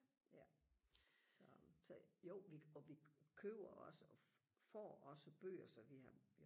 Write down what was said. ja så så jo vi og vi køber også får også bøger så vi har